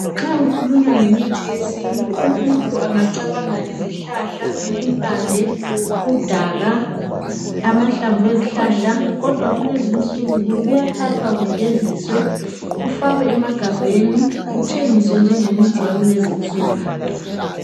Nxa kukhulunywa ngemithi yesintu omunye umuntu angacabanga izihlahla impande udaka amahlamvu ezihlahla kodwa kulezinsuku kuyathathwa kugeziswe kufakwe emagabheni kuthengiswe njengemithi yakulezinsuku.